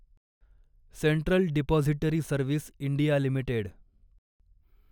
central depository service India limited